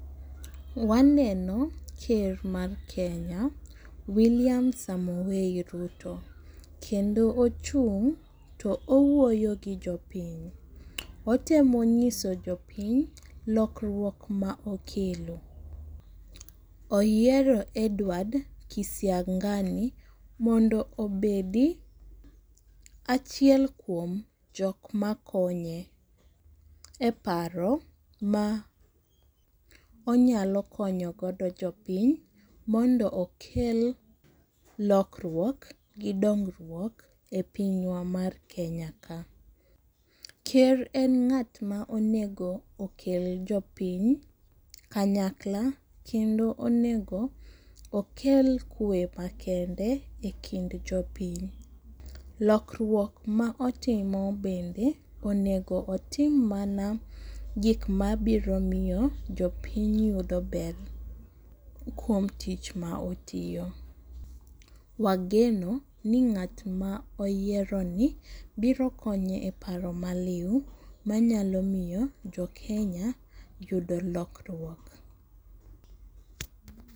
Waneno ker mar Kenya William Samoei Ruto kendo ochung' to owuoyo gi jopiny, otemo nyiso jopiny lokruok ma okelo. Oyiero Edward Kisiang'ani mondo obed achiel kuom jok makonye e paro ma onyalo konyo godo jopiny mondo okel lokruok gi dongruok e pinywa mar Kenya ka. Ker en ng'at ma onego okel jopiny kanyakla kendo onego okel kwe makende e kind jopiny. lokruok ma otimo bende onego otim mana gik mabiro miyo jopiny yudo ber kuom tich ma otiyo. Wageno ni ng'at ma oyieroni biro konye e paro maliw manyalo miyo jo Kenya yudo lokruok.